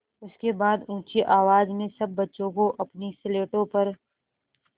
उसके बाद ऊँची आवाज़ में सब बच्चों को अपनी स्लेटों पर